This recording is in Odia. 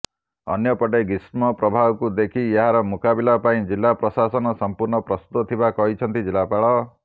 ଅନ୍ୟପଟେ ଗ୍ରୀଷ୍ମପ୍ରବାହକୁ ଦେଖି ଏହାର ମୁକାବିଲା ପାଇଁ ଜିଲ୍ଲା ପ୍ରଶାସନ ସମ୍ପୂର୍ଣ୍ଣ ପ୍ରସ୍ତୁତ ଥିବା କହିଛନ୍ତି ଜିଲ୍ଲାପାଳ